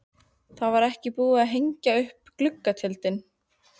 Það var ekki búið að hengja upp gluggatjöldin.